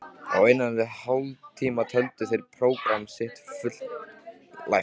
Á innan við hálftíma töldu þeir prógramm sitt fullæft.